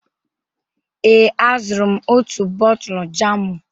Ee, azụrụ m otu bọtụlụ jamụ.